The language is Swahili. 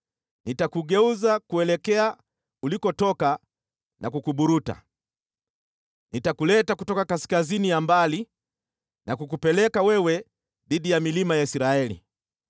Nitakugeuza kuelekea ulikotoka na kukuburuta. Nitakuleta kutoka kaskazini ya mbali na kukupeleka wewe dhidi ya milima ya Israeli.